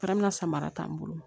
Fara min ka samara t'an bolo